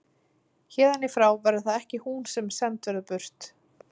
Héðan í frá verður það ekki hún sem send verður burt.